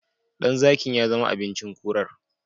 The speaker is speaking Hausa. Ɗan zakin yazama abinci kurar